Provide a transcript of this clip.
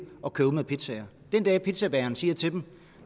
at køre ud med pizzaer den dag pizzabageren siger til dem